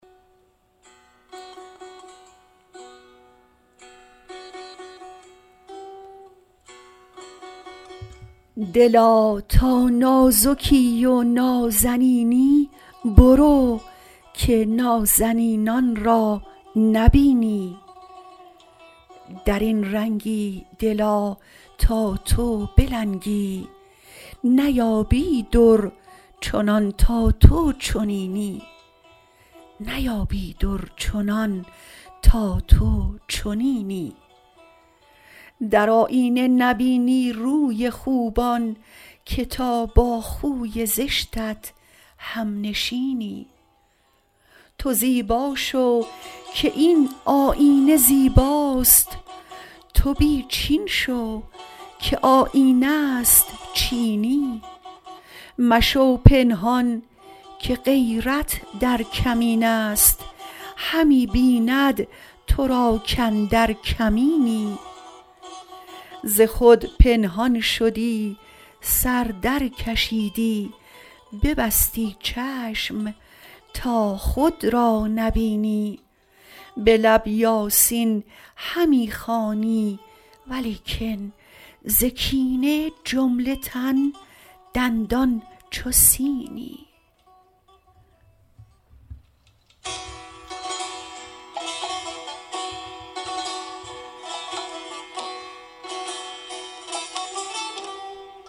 دلا تا نازکی و نازنینی برو که نازنینان را نبینی در این رنگی دلا تا تو بلنگی نیایی در چنان تا تو چنینی در آیینه نبینی روی خوبان که تا با خوی زشتت همنشینی تو زیبا شو که این آیینه زیباست تو بی چین شو که آیینه است چینی مشو پنهان که غیرت در کمین است همی بیند تو را کاندر کمینی ز خود پنهان شدی سر درکشیدی ببستی چشم تا خود را نبینی به لب یاسین همی خوانی ولیکن ز کینه جمله تن دندان چو سینی